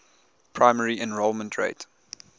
primary enrollment rate